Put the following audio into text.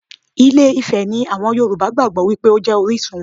Ilé Ifẹ̀ ni àwọn Yorùbá gbàgbó wípé ó jẹ́ orísun wọn.